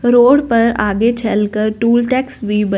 road पर आगे चल कर टूल टैक्स भी ब--